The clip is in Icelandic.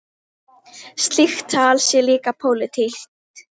Slíkt tal sé líka pólitík.